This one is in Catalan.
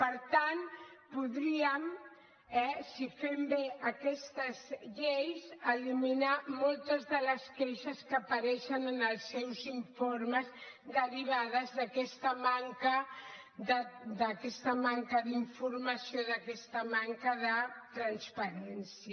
per tant podríem eh si fem bé aquestes lleis eliminar moltes de les queixes que apareixen en els seus informes derivades d’aquesta manca d’informació d’aquesta manca de transparència